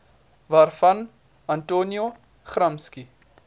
waarvan antonio gramsci